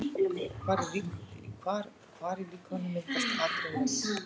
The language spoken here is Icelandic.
Hvar í líkamanum myndast Adrenalín?